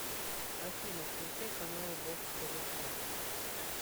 афина включай каналы бокс тв плюс